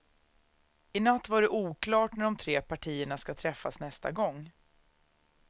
I natt var det oklart när de tre partierna ska träffas nästa gång.